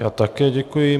Já také děkuji.